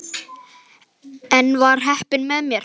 En enn var heppnin með mér.